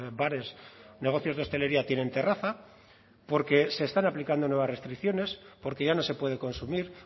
bares negocios de hostelería tienen terraza porque se están aplicando nuevas restricciones porque ya no se puede consumir